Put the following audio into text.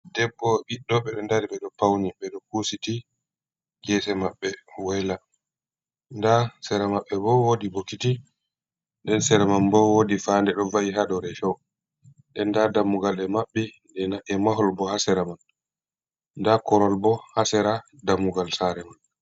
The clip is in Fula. Debbo ɓiddo ɓe ɗo dari ɓe ɗo pauni ɓe ɗo kusiti gese maɓɓe waila da ha sera maɓɓe bo wodi bokiti ɗen sera man bo wodi fanɗe ɗo va’i ha dow rishow den da dammugal e mabɓi e mahol bo ha sera man da korowal bo ha sera dammugal sare man.